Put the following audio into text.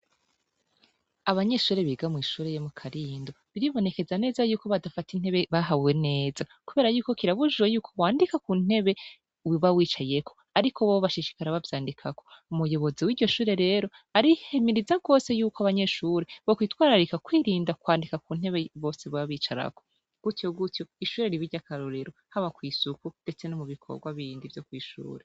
Abanyeshuri biga mwishureye mu karindo biribonekeza neza yuko badafata intebe bahawe neza, kubera yuko kirabujuwe yuko wandika ku ntebe wiba wicayeko, ariko boo bashishikara bavyandikako umuyobozi w'iryo shure rero arihemiriza kwose yuko abanyeshure bo kwitwararika kwirinda kwandika ku ntebe bose bababicarako gutyo gutyo ishure ribirya akarorero haba kw'isuku, ndetse no mu bikorwa bindi vyo kwishurura.